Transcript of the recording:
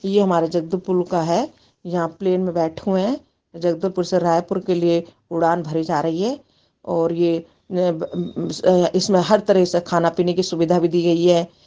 ये हमारा जगतु पुल का है यहाँ प्लेन में बैठे हुए है जगदूपर से रायपुर के लिए उड़ान भरी जा रही है और ये ब ब इसमें हर तरह से खाना- पिने की सुविधा भी दी गयी हैं।